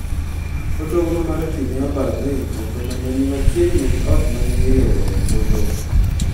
Hotogoro mar pii ne obarore e puodho mane ni machiegini gi ot mane iriwoe ombulu.